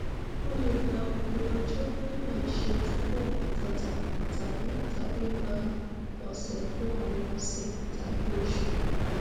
ó lè gba òpin ọjọ ní àìṣe túbọ àtàtà tàbí tàbí gbà ọsẹkùn àwọn ọsẹ tàbí oṣù